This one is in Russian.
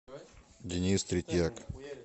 денис третьяк